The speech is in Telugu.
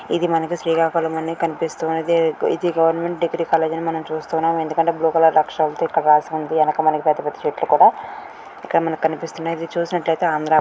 ఇది మనకి శ్రీకాకుళంలోనే కనిపిస్తుంది. ఇది ఇది గవర్నమెంట్ డిగ్రీ కాలేజ్ అని మనం చూస్తున్నాం. ఎందుకంటే బ్లూ కలర్ అక్షరాలతో ఇక్కడ రాసి ఉంది. ఎనక మనకి పెద్ద పెద్ద చెట్లు కూడా ఇక్కడ మనకి కనిపిస్తున్నాయి. ఇది చూసినట్టయితే ఆంధ్ర.